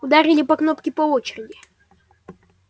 ударили по кнопке по очереди